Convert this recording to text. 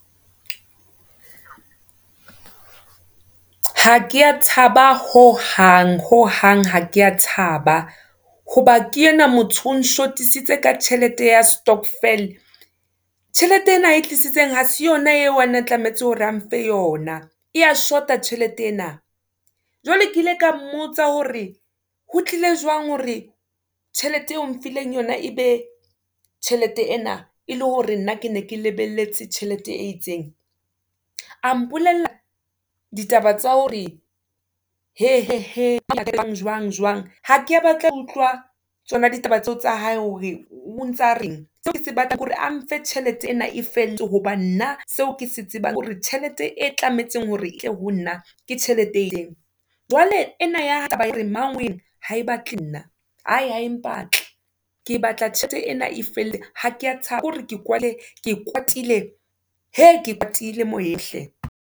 Ha keya thaba ho hang, ho hang ha ke thaba, hoba ke enwa motho, o shotisitse ka tjhelete ya Stokvel. Tjhelete ena e tlisitseng, ha se yona eo ene atlamehetse hore, a mphe yona, e ya shota tjhelete ena. Jwale, ke ile ka mmotsa hore, ho tlile jwang, hore tjhelete eo mphileng yona, e be tjhelete ena, e le hore nna ke ne ke lebelletse tjhelete e itseng. A mpolella ditaba tsa hore, he, he, he, jwang, jwang, jwang. Ha ke batla ho utlwa, tsona ditaba tseo tsa hae, hore o ntsa reng, seo kese batlang hore, a mphe tjhelete ena e feletse, hobane nna seo kese tsebang hore, tjhelete e tlametseng hore e tle ho nna, ke tjhelete e ileng, jwale ena ya taba ea hore mang wee, ha e batle nna, hae, hae empa tle, ke batla tjhelete ena e felletse, ha keya thaba, ke hore ke kwa, ke kwatile, he ke kwatile moyeng hle.